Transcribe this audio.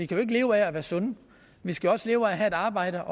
kan leve af at være sunde vi skal også leve af at have arbejde